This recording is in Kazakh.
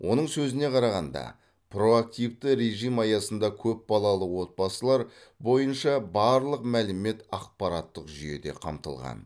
оның сөзіне қарағанда проактивті режім аясында көпбалалы отбасылар бойынша барлық мәлімет ақпараттық жүйеде қамтылған